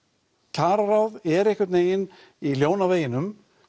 kjararáð er einhvern vegin ljón á veginum